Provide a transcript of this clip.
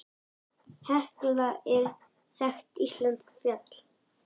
Hekla er þekkt íslenskt eldfjall.